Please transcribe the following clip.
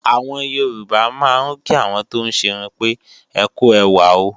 Àwọn Yorùbá máa ń kí àwọn tóún ṣerun pé "ẹkú ẹwà o"